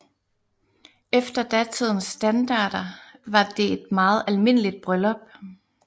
Efter datidens standarder var det et meget almindeligt bryllup